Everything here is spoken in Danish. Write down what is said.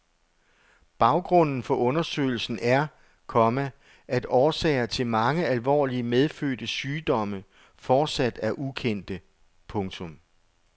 Baggrunden for undersøgelsen er, komma at årsager til mange alvorlige medfødte sygdomme fortsat er ukendte. punktum